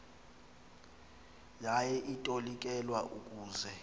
yaye itolikelwa ukuze